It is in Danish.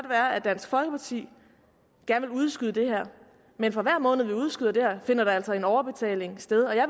være at dansk folkeparti gerne vil udskyde det her men for hver måned vi udskyder det her finder der altså en overbetaling sted og jeg